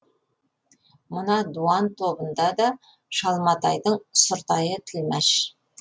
мына дуан тобында да шалматайдың сұртайы тілмаш